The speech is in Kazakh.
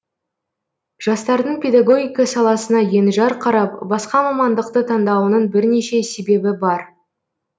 жастардың педагогика саласына енжар қарап басқа мамандықты таңдауының бірнеше себебі бар